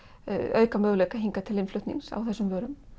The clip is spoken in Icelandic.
auka hingað til innflutninga á þessum vörum